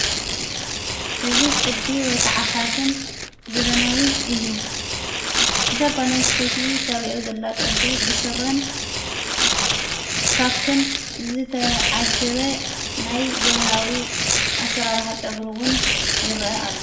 እዝ ቕዲ ወይ ከዓፋሽን ዘበናዊ እዩ ዛ ጓልንስተቲ ተርእዮ ዘላ ቅዲ ብሥረን ካክን ዘተዓጀበ ናይ ዘመናዊ ኣሠራርሕ ጨግሩዉን ይርአ ኣሎ።